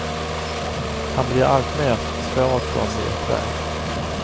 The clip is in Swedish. Han blir alltmer svåråtkomlig och tvär.